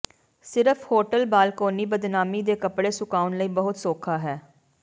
ਸਿਰਫ਼ hotel balcony ਬਦਨਾਮੀ ਦੇ ਕੱਪੜੇ ਸੁਕਾਉਣ ਲਈ ਬਹੁਤ ਸੌਖਾ ਹੈ